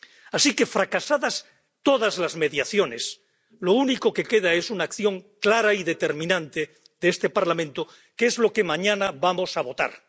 Así que, fracasadas todas las mediaciones, lo único que queda es una acción clara y determinante de este Parlamento, que es lo que mañana vamos a votar.